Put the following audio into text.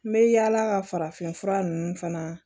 N bɛ yaala ka farafinfura ninnu fana